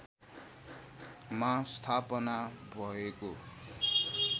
मा स्थापना भएको